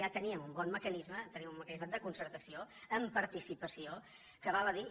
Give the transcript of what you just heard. ja teníem un bon mecanisme teníem un mecanisme de concertació amb participació que val a dir